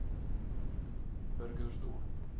burgersdorp